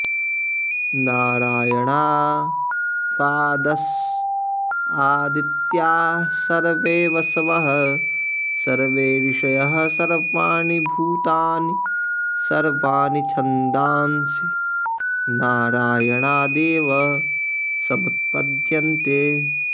नारायणाद्द्वादशादित्याः सर्वे वसवः सर्वे ऋषयः सर्वाणि भूतानि सर्वाणि छन्दांसि नारायणादेव समुत्पद्यन्ते